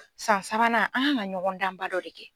San sabanan an kan ka ɲɔgɔndanba dɔ de kɛ.